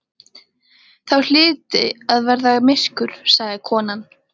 Þá hlyti að verða myrkur, sagði konan.